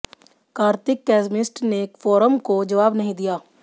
Kartik chemist ने forum को जवाब नहीं दिया